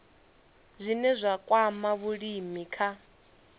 zwine zwa kwama vhulimi kha